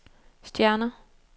stjerner